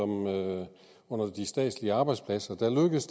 med de statslige arbejdspladser